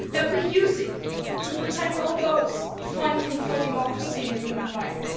That we use it to protect all those fighting for democracy and human rights.